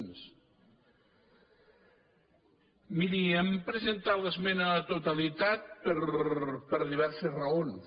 miri hem presentat l’esmena a la totalitat per diverses raons